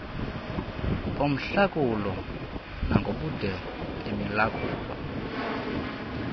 bomhlakulo nangobude bemilakulo